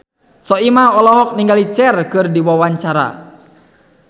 Soimah olohok ningali Cher keur diwawancara